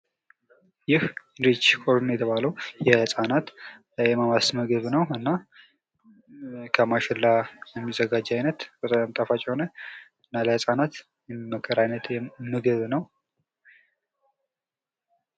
ይህ ሪች ኮርን የተባለው የህፃናት የማማስ ምግብ ነው። እና ከማሽላ የሚዘጋጅ አይነት በጣም ጣፋጭ የሆነ እና ለህፃናት የሚመከር አይነት ምግብ ነው።